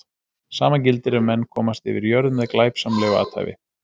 Sama gildir ef menn komast yfir jörð með glæpsamlegu athæfi.